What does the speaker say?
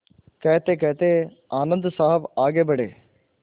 कहतेकहते आनन्द साहब आगे बढ़े